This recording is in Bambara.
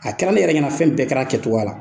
A kɛra ne yɛrɛ ɲɛna fɛn bɛɛ kɛra a kɛcogoya la.